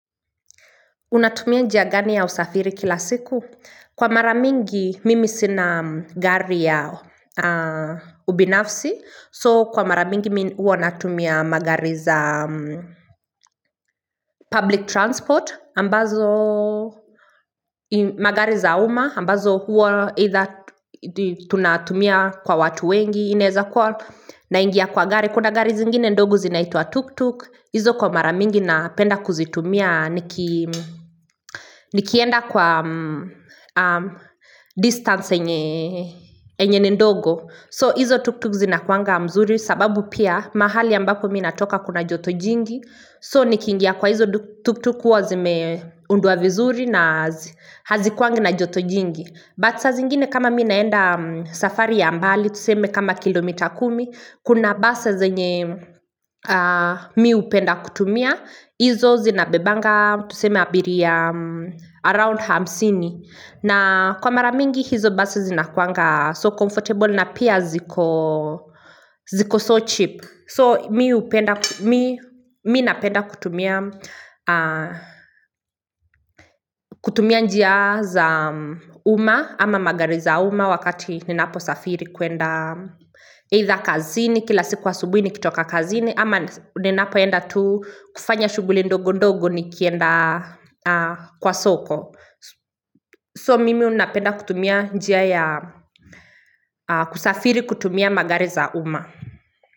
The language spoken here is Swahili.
Unatumia njia gani ya usafiri kila siku? Kwa mara mingi, mimi sina gari ya ubinafsi. So, kwa mara mingi, mi huwa natumia magari za public transport. Ambazo, magari za uma. Ambazo, huo either tunatumia kwa watu wengi. Inaeza kwa naingia kwa gari. Kuna gari zingine ndogo zinaitua tuk-tuk. Izo kwa mara mingi na penda kuzitumia nikienda kwa distance yenye enye ni ndogo. So izo tuk-tuk zinakuanga mzuri sababu pia mahali ambako mi natoka kuna joto jingi. So nikingia kwa hizo tuk-tuk hua zime undwa vizuri na hazikuangi na joto jingi. But sa zingine kama mi naenda safari ya mbali tuseme kama kilomita kumi kuna basi zenye mi upenda kutumia Izo zinabebanga tuseme abiria around hamsini. Na kwa mara mingi hizo basi zinakuanga so comfortable na pia ziko so cheap So mi hupenda, mi napenda kutumia kutumia njia za umma ama magari za umma wakati ninaposafiri kuenda Either kazini kila siku asubuhi nikitoka kazini ama ninapoenda tu kufanya shughuli ndogo ndogo ni kienda kwa soko. So mimi unapenda kutumia njia ya kusafiri kutumia magari za umma.